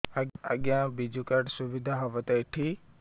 ଆଜ୍ଞା ବିଜୁ କାର୍ଡ ସୁବିଧା ହବ ତ ଏଠି